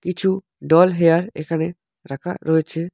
কিছু doll hair এখানে রাখা রয়েছে।